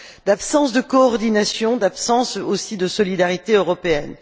l'absence de coordination, l'absence aussi de solidarité européenne.